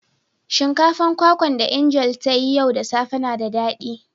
Shinkafan kwakwa da "Angel" ta yi yau da safe na da dadi.